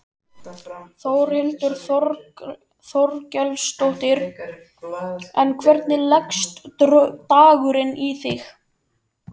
Þórhildur Þorkelsdóttir: En hvernig leggst dagurinn í þig?